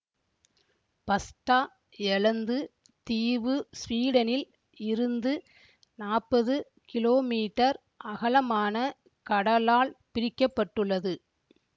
பஸ்டா எலந்து தீவு ஸ்வீடனில் இருந்து நாப்பது கிலோமீட்டர் அகலமான கடலால் பிரிக்க பட்டுள்ளது